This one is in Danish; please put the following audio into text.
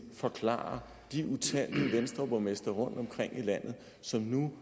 forklare de utallige venstreborgmestre rundtomkring i landet som nu